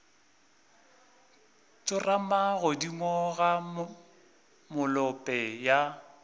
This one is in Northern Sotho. tsorama godimo ga molope ya